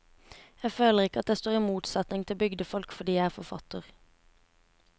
Jeg føler ikke at jeg står i motsetning til bygdefolk fordi jeg er forfatter.